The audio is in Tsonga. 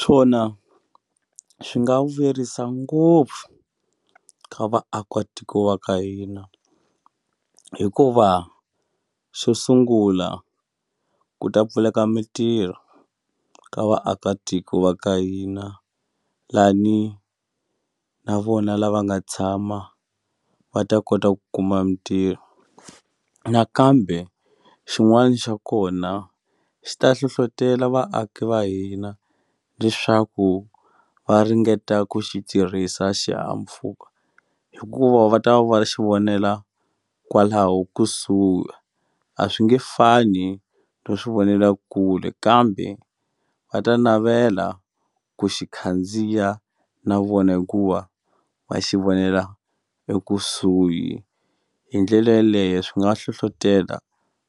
Swona swi nga vuyerisa ngopfu ka vaakatiko va ka hina hikuva xo sungula ku ta pfuleka mitirho ka vaakatiko va ka hina lani na vona lava nga tshama va ta kota ku kuma mintirho nakambe xin'wani xa kona xi ta hlohlotela vaaki va hina leswaku va ringeta ku xi tirhisa xihahampfhuka hikuva va ta va xi vonela kwalaho kusuhi a swi nge fani no swivonelakule kambe va ta navela ku xi khandziya na vona hikuva va xi vonela ekusuhi hi ndlela yeleyo swi nga hlohlotela